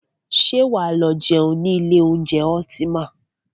Ṣé wà á lọ jẹun ní ilé oúnjẹ Ultima?